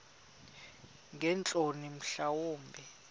ngeentloni mhla wumbi